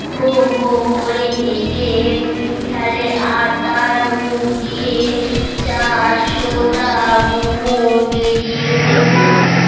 হ হ করে হেসে ফেলে আর তার মুখ দিয়ে চারশো টা মোহর বেরিয়ে পড়লো